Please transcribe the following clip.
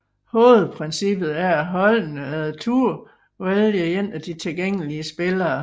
Hovedprincippet er at holdene efter tur vælger en af de tilgængelige spillere